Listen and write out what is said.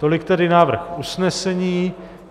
Tolik tedy návrh usnesení.